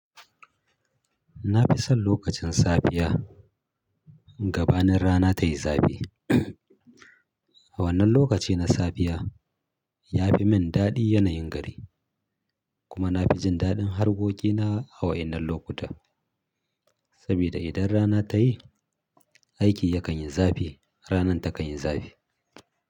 Na fi son lokacin safiya gabanin rana tayi zafi. A wannan lokaci na safiya ya fi min daɗi yanayin gari kuma na fi jin daɗin harƙoƙina a wa'inan lokuta. Saboda idan rana ta yi, aiki yakan yi zafi, ranan takan yi zafi.